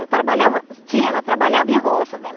Ela trabalhava... Sim, ela trabalhava em roça, né?